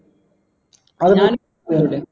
അത് ഞാൻ ഒരു minute